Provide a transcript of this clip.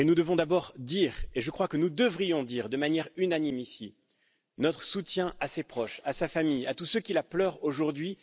Nous devons d'abord dire, et je crois que nous devrions dire de manière unanime, ici, notre soutien à ses proches, à sa famille, à tous ceux qui la pleurent aujourd'hui.